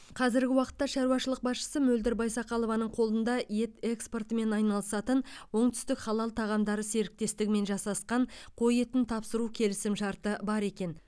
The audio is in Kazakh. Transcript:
қазіргі уақытта шаруашылық басшысы мөлдір байсақалованың қолында ет экспортымен айналысатын оңтүстік халал тағамдары серіктестігімен жасасқан қой етін тапсыру келісімшарты бар екен